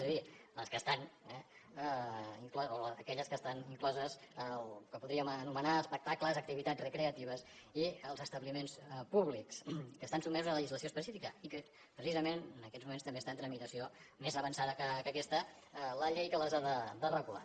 és a dir aquelles que estan incloses en el que podríem anomenar espectacles activitats recreatives i els establiments públics que estan sotmesos a legislació específica i que precisament en aquests moments també està en tramitació més avançada que aquesta la llei que les ha de regular